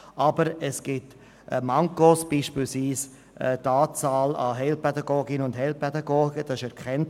Aber es gibt Defizite, etwa bei der Anzahl Heilpädagoginnen und Heilpädagogen.